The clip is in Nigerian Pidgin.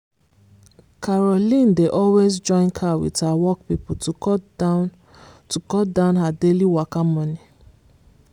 caroline dey always join car with her work people to cut down to cut down her daily waka money.